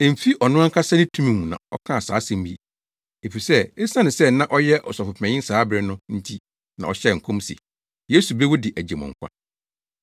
Emfi ɔno ankasa ne tumi mu na ɔkaa saa asɛm yi, efisɛ esiane sɛ na ɔyɛ ɔsɔfopanyin saa bere no nti na ɔhyɛɛ nkɔm se, “Yesu bewu de agye mo nkwa,”